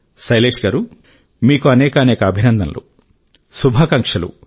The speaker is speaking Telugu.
శైలేశ్ గారూ మీకు అనేకానేక అభినందనలు శుభాకాంక్షలు